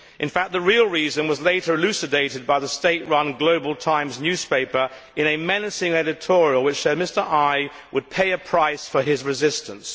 In fact, the real reason was later elucidated by the state run Global Times newspaper in a menacing editorial, which said that Mr Ai would pay a price for his resistance.